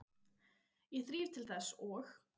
Ég þríf til þess og